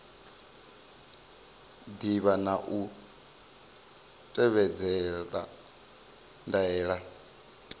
ḓivha na u tevhedzela ndaela